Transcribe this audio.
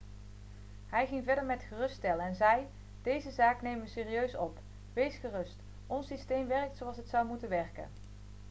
hij ging verder met geruststellen en zei: 'deze zaak nemen we serieus op. wees gerust ons systeem werkt zoals het zou moeten werken.'